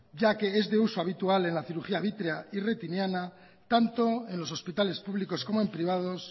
ya que es de uso habitual en la cirugía vítrea y retiniana tanto en los hospitales públicos como en privados